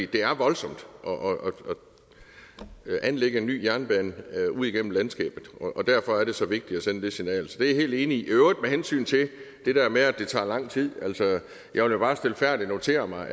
det er voldsomt at anlægge en ny jernbane ud igennem landskabet og derfor er det så vigtigt at sende det signal så det er jeg helt enig i i øvrigt vil hensyn til det der med at det tager lang tid bare stilfærdigt notere mig